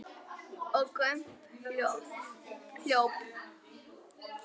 Og Gump hljóp!